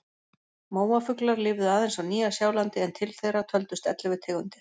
Móafuglar lifðu aðeins á Nýja-Sjálandi en til þeirra töldust ellefu tegundir.